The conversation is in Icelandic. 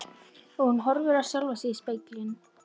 Og hún horfir á sjálfa sig í speglinum.